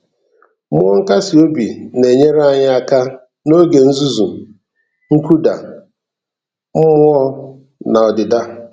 Mmụọ nkasi obi a na-enyere anyị aka n'oge nzuzu, nkụda mmụọ na ọdịda.